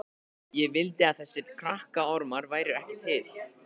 Ég vildi að þessir krakkaormar væru ekki til.